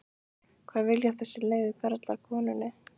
hvað vilja þessir leiðu karlar konunni?